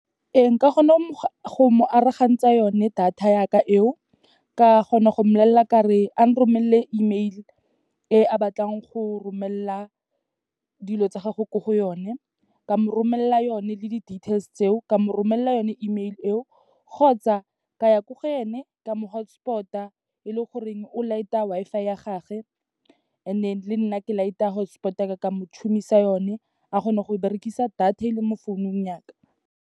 Ee, nka kgona go mo arogantsa yone data yaka eo. Ka kgona go mmolelela kare ang romelele email, e a batlang go romelela dilo tsa gagwe ko go yone, ka mo romelela yone le di-details tseo, ka mo romelela yone email eo. Kgotsa, ka ya ko go ene, ka mo hotspot-a, e le goreng o light-a Wi-Fi ya gage and then le nna ke light-a hotspot ya ka, ka mo tshumisa yone, a kgone go berekisa data e leng mo founung ya ka.